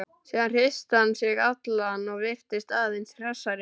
Síðan hristi hann sig allan og virtist aðeins hressari.